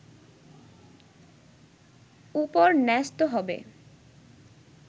উপর ন্যস্ত হবে